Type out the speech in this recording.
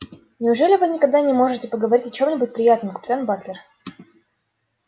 неужели вы никогда не можете поговорить о чём-нибудь приятном капитан батлер